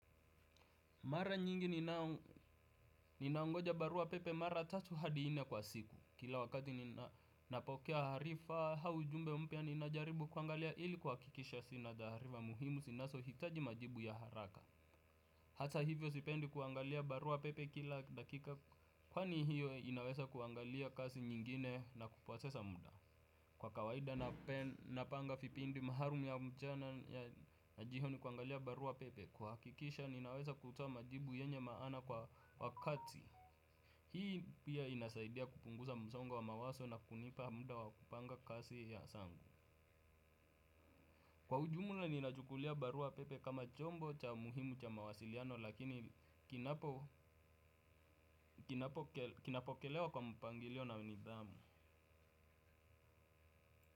Mara nyingi ninaongoja barua pepe mara tatu hadi nne kwa siku. Kila wakati ninapokea harifa hau jumbe mpya ninajaribu kuangalia ili kuakikisha sina dharifa muhimu zinazohitaji majibu ya haraka. Hata hivyo sipendi kuangalia barua pepe kila dakika kwaani hiyo inawesa kuangalia kasi nyingine na kuposesa muda. Kwa kawaida napanga vipindi maalum ya mchana na jioni kuangalia barua pepe. Kuhakikisha ninaweza kutoa majibu yenye maana kwa wakati. Hii pia inasaidia kupunguza msongo wa mawazo na kunipa muda wa kupanga kazi ya zangu. Kwa ujumula ninachukulia barua pepe kama chombo cha muhimu cha mawasiliano lakini kinapokelewa kwa mpangilio na nidhamu.